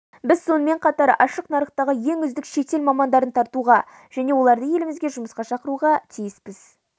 біз сонымен қатар ашық нарықтағы ең үздік шетел мамандарын тартуға және оларды елімізге жұмысқа шақыруға тиіспіз